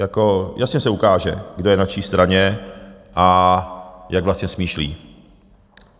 Jako jasně se ukáže, kdo je na čí straně a jak vlastně smýšlí.